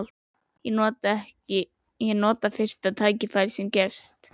Ég nota fyrsta tækifæri sem gefst.